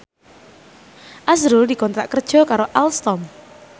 azrul dikontrak kerja karo Alstom